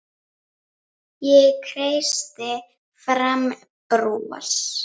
Ég kreisti fram bros.